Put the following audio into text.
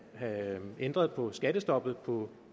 have ændret på skattestoppet på